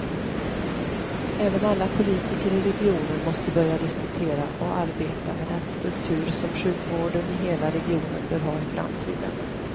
Även alla politiker i regionen måste börja diskutera och arbeta med den struktur som sjukvården i hela regionen bör ha i framtiden.